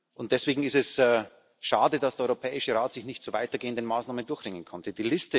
Und deswegen ist es schade, dass der Europäische Rat sich nicht zu weitergehenden Maßnahmen durchringen konnte.